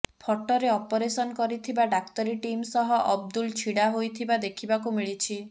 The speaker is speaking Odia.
ଫଟୋରେ ଅପରେସନ୍ କରିଥିବା ଡାକ୍ତରୀ ଟିମ୍ ସହ ଅବଦୁଲ ଛିଡ଼ା ହୋଇଥିବା ଦେଖିବାକୁ ମିଳିଛି